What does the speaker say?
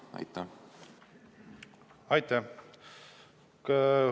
Aitäh!